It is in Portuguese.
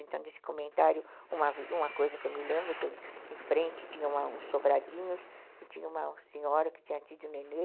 Então, desse comentário, uma coisa que eu me lembro, em frente tinha uns sobradinhos e tinha uma senhora que tinha tido um nenê.